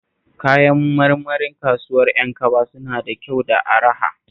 Kayan marmarin kasuwar Yankaba suna da kyau da araha